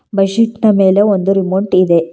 Bed sheet ನ ಮೇಲೆ ಒಂದು ರಿಮೋಟ್ ಇದೆ.